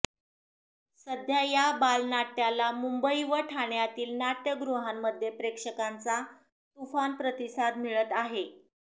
सध्या या बालनाट्याला मुंबई व ठाण्यातील नाट्यगृहांमध्ये प्रेक्षकांचा तुफान प्रतिसाद मिळत आहे